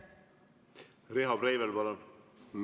Riho Breivel, palun!